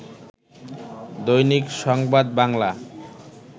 Dainik Sangbad Bangla